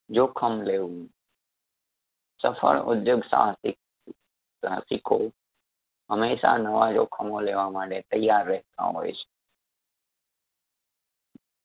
જોખમ લેવું સફળ ઉધ્યોગ સાહસિક સાહસિકો હમેશા નવા જોખમો લેવા માટે તૈયાર રાહેતાં હોય છે